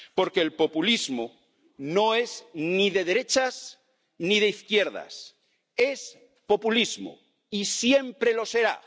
Porque el populismo no es ni de derechas ni de izquierdas, es populismo y siempre lo será.